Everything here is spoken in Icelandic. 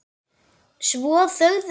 Svo þögðu þeir.